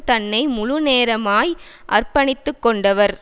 தன்னை முழுநேரமாய் அர்ப்பணித்து கொண்டவர்